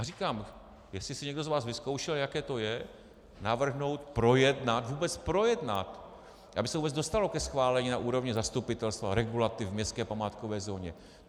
A říkám, jestli si někdo z vás vyzkoušel, jaké to je navrhnout, projednat, vůbec projednat, aby se vůbec dostalo ke schválení na úrovni zastupitelstva, regulativ v městské památkové zóně.